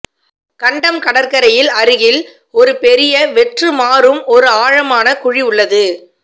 கண்டம் கடற்கரையில் அருகில் ஒரு பெரிய வெற்று மாறும் ஒரு ஆழமான குழி உள்ளது